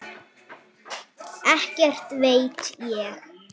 Ekkert veit ég.